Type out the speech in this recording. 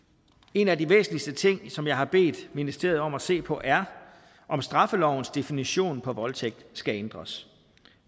en af de væsentligste ting som jeg har bedt ministeriet om at se på er om straffelovens definition af voldtægt skal ændres